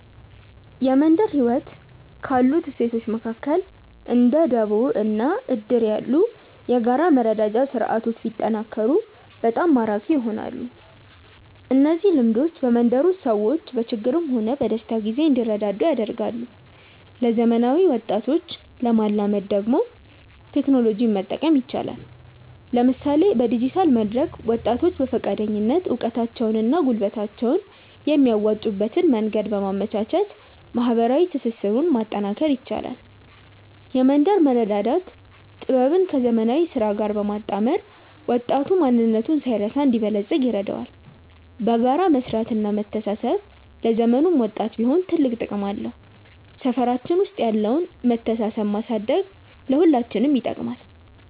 የመንደር ህይወት ካሉት እሴቶች መካከል እንደ ደቦ እና እድር ያሉ የጋራ መረዳጃ ስርዓቶች ቢጠናከሩ በጣም ማራኪ ይሆናሉ። እነዚህ ልምዶች በመንደር ውስጥ ሰዎች በችግርም ሆነ በደስታ ጊዜ እንዲረዳዱ ያደርጋሉ። ለዘመናዊ ወጣቶች ለማላመድ ደግሞ ቴክኖሎጂን መጠቀም ይቻላል፤ ለምሳሌ በዲጂታል መድረክ ወጣቶች በፈቃደኝነት እውቀታቸውንና ጉልበታቸውን የሚያዋጡበትን መንገድ በማመቻቸት ማህበራዊ ትስስሩን ማጠናከር ይቻላል። የመንደር መረዳዳት ጥበብን ከዘመናዊ ስራ ጋር ማጣመር ወጣቱ ማንነቱን ሳይረሳ እንዲበለጽግ ይረዳዋል። በጋራ መስራትና መተሳሰብ ለዘመኑም ወጣት ቢሆን ትልቅ ጥቅም አለው። ሰፈራችን ውስጥ ያለውን መተሳሰብ ማሳደግ ለሁላችንም ይጠቅማል።